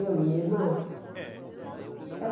Eu e minha irmã? Eh